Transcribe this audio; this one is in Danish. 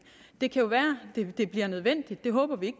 det kan jo være det bliver nødvendigt det håber vi